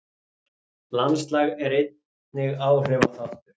Landslag er einnig áhrifaþáttur.